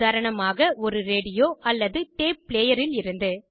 உதாரணமாக ஒரு ரேடியோ அல்லது டேப் ப்ளேயரில் இருந்து